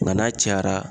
Nka n'a cayara